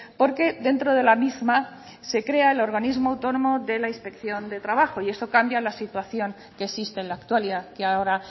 porque dentro de la misma se crea el organismo autónomo de la inspección de trabajo y eso cambia la situación que existe en la actualidad que ahora